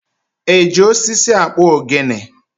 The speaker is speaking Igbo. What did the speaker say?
E ji osisi akpụ ogene?